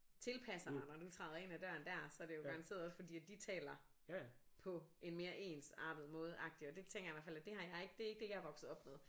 Tilpasser dig når du træder ind ad døren der så er det jo garanteret også fordi at de taler på en mere ensartet måde agtigt og det tænker jeg i hvert fald at det har jeg ikke det er ikke det jeg er vokset op med